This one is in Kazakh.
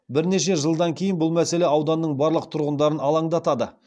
бірнеше жылдан кейін бұл мәселе ауданның барлық тұрғындарын алаңдатады